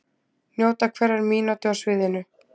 Njóta hverrar mínútu á sviðinu